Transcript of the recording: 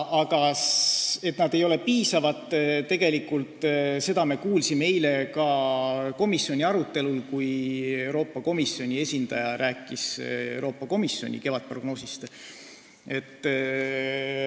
Seda, et nad ei ole piisavad, me kuulsime eile ka komisjoni arutelul, kui Euroopa Komisjoni esindaja rääkis Euroopa Komisjoni kevadprognoosist.